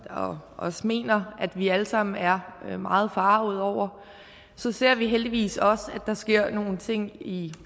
og også mener at vi alle sammen er meget forargede over så ser vi heldigvis også at der sker nogle ting i